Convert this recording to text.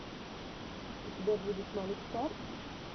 у тебя будет малик стар